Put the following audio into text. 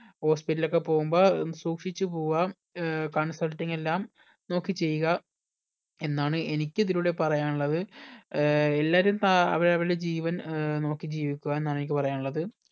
hospital ഒക്കെ പോകുമ്പോൾ സൂക്ഷിച്ച് പോവുക ഏർ consulting എല്ലാം നോക്കി ചെയ്യുക എന്നാണ് എനിക്ക് ഇതിലൂടെ പറയാനുള്ളത് എല്ലാരും സ അവരവരുടെ ജീവൻ ഏർ നോക്കി ജീവിക്കുക എന്നാണ് എനിക്ക് പറയാനുള്ളത്